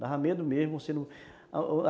Dava medo mesmo